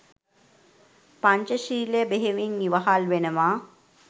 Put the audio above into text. පංචශීලය බෙහෙවින් ඉවහල් වෙනවා.